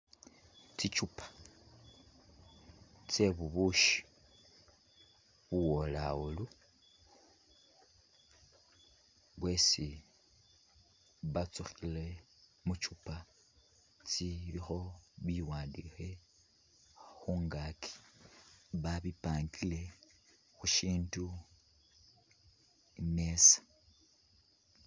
Tsichupa tse bubushi buwolawolu bwesi batsukhile muchupa tsilikho biwandikhe khungaaki babi pangile khusindu khumesa